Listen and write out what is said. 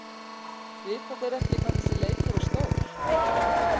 Vita þeir ekki hvað þessi leikur er stór?